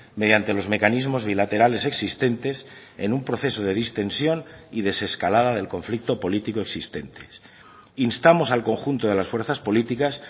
mediante los mecanismos bilaterales existentes en un proceso de distensión y desescalada del conflicto político existentes instamos al conjunto de las fuerzas políticas